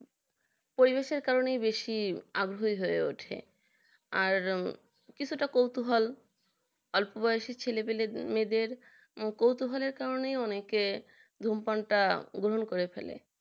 পরিবেশকে কারণে বেশি আগ্রহী হয়ে ওঠে আর কিছুটা কৌতুহল অল্পবয়সী ছেলে মেয়েদের কৌতহলে কারণে অনেকে ধূমপানটা গ্রহণ করে ফেলে